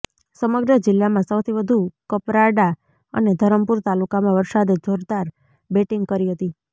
સમગ્ર જિલ્લામાં સૌથી વધુ કપરાડા અને ધરમપુર તાલુકામાં વરસાદે જોરદાર બેટીંગ કરી હતી